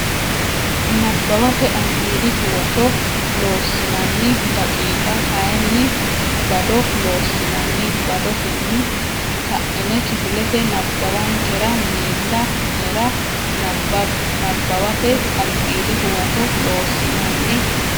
Nabbawate Albiidi Huwato Loossinanni daqiiqa kayinni bado Loossinanni badotenni ka ine kifilete nabbawankera miilla nera nabbabbe Nabbawate Albiidi Huwato Loossinanni.